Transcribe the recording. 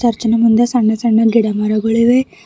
ಅಸ್ಟ್ ಜನ ಮುಂದೆ ಸಣ್ಣ ಸಣ್ಣ ಗಿಡಮರಗಳಿವೆ.